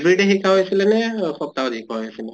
every day শিকোৱা হৈ আছিলে নে সপ্তাহত শিকোৱা হৈ আছিলে?